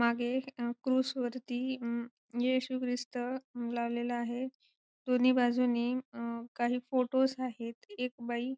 मागे अ क्रूझ वरती अं येशू ख्रिस्त लावलेला आहे दोन्ही बाजूने अ काही फोटोज आहेत एक बाई